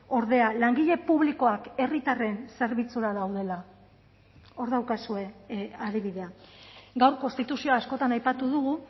ordea langile publikoak herritarren zerbitzura daudela hor daukazue adibidea gaur konstituzioa askotan aipatu dugu